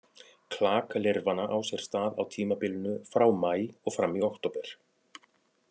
Klak lirfanna á sér stað á tímabilinu frá maí og fram í október.